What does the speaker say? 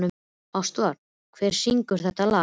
Ástvar, hver syngur þetta lag?